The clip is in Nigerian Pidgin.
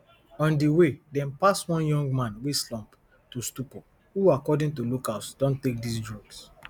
on di way dem pass one young man wey slump to stupor who according to locals don take dis drugs